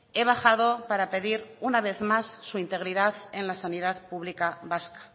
he bajado para pedir una vez más su integridad en la sanidad pública vasca